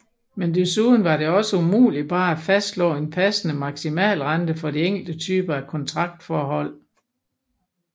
Men desuden var det også umuligt bare at fastslå en passende maksimalrente for de enkelte typer af kontraktforhold